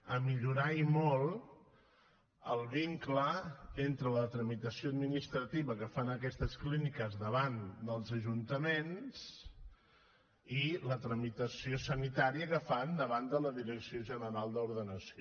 a millorar i molt el vincle entre la tramitació administrativa que fan aquestes clíniques davant dels ajuntaments i la tramitació sanitària que fan davant de la direcció general d’ordenació